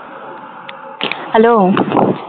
hello